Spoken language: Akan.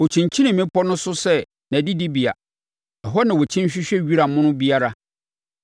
Ɔkyinkyini mmepɔ no so sɛ nʼadidibea; ɛhɔ na ɔkyin hwehwɛ wira mono biara.